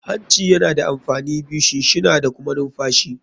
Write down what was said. Hancin yana da amfani biyu, shinshina da kuma numfashi.